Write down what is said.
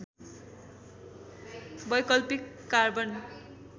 वैकल्पिक कार्बन